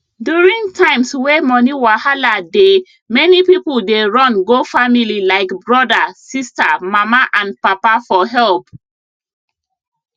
during times wey money wahala dey many people dey run go family like brother sister mama and papa for help